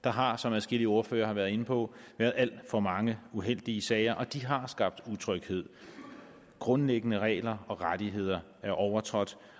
der har som adskillige ordførere været inde på været alt for mange uheldige sager og de har skabt utryghed grundlæggende regler og rettigheder er blevet overtrådt